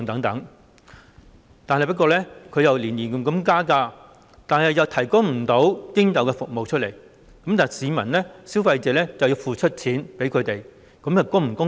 港鐵公司每年加價，卻不能提供應有的服務，市民或消費者則要付款給他們，這樣是否公道？